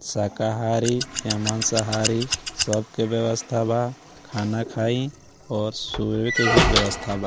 शाकाहारी या मांशाहारी सब के व्यस्था बा खाना खायी और सोए के भी व्यस्था बा।